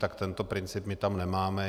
Tak tento princip my tam nemáme.